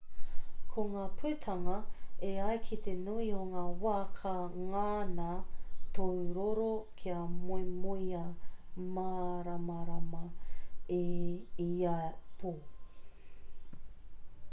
ko ngā putanga e ai ki te nui o ngā wā ka ngana tōu roro kia moemoeā māramarama i ia pō